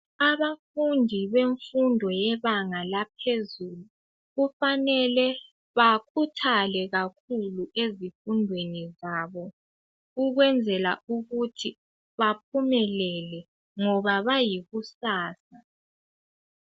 Abafundi bemfundo yebanga laphezulu. Kufanele bakhuthale kakhulu ezifundweni zabo ukwenzela ukuthi baphumelele ngoba bayikusasa.